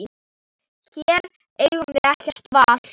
Hér eigum við ekkert val.